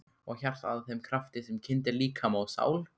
Og hjartað að þeim krafti sem kyndir líkama og sál?